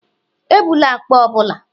Ebula akpa ọ bụla.